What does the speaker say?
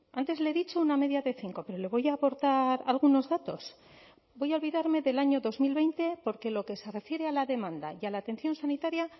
antes le he dicho una media de cinco pero le voy a aportar algunos datos voy a olvidarme del año dos mil veinte porque lo que se refiere a la demanda y a la atención sanitaria